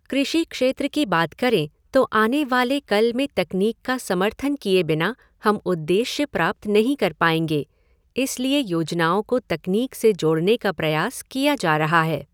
कृषि क्षेत्र की बात करें तो आने वाले कल में तकनीक का समर्थन किए बिना हम उद्देश्य प्राप्त नहीं कर पाएंगे, इसलिए योजनाओं को तकनीक से जोड़ने का प्रयास किया जा रहा है।